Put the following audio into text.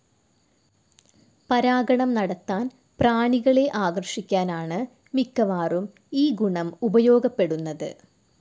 പരാഗണം നടത്താൻ പ്രാണികളെ ആകർഷിക്കാനാണ് മിക്കവാറും ഈ ഗുണം ഉപയോഗപ്പെടുന്നത്.